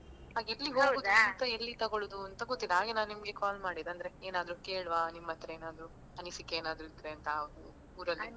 ಎಲ್ಲಿ ತಗೊಳ್ಳುದು ಅಂತ ಗೊತ್ತಿಲ್ಲ ಹಾಗೆ ನಾನ್ ನಿಮ್ಗೆ call ಮಾಡಿದ್ದು ಅಂದ್ರೆ ಏನಾದ್ರು ಕೇಳುವ ನಿಮ್ಮತ್ರ ಏನಾದ್ರು ಅನಿಸಿಕೆ ಏನಾದ್ರು ಇದ್ರೆ ಅಂತ ಊರಲ್ಲಿ.